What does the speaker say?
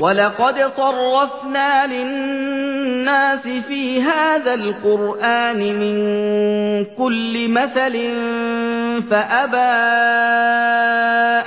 وَلَقَدْ صَرَّفْنَا لِلنَّاسِ فِي هَٰذَا الْقُرْآنِ مِن كُلِّ مَثَلٍ فَأَبَىٰ